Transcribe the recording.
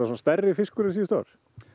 stærri fiskur er síðustu ár